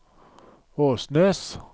Åsnes